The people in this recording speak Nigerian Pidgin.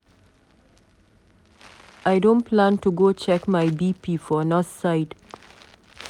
I don plan to go check my bp for nurse side.